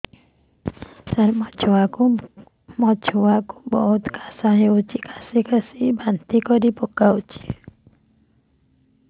ସାର ମୋ ଛୁଆ କୁ ବହୁତ କାଶ ହଉଛି କାସି କାସି ବାନ୍ତି କରି ପକାଉଛି